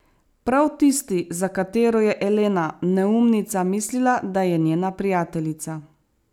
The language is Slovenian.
Prav tisti, za katero je Elena, neumnica, mislila, da je njena prijateljica.